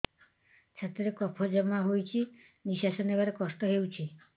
ଛାତିରେ କଫ ଜମା ହୋଇଛି ନିଶ୍ୱାସ ନେବାରେ କଷ୍ଟ ହେଉଛି